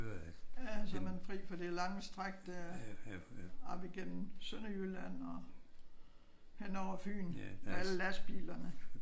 Ja så er man fri for det lange stræk der op igennem Sønderjylland og hen over Fyn med alle lastbilerne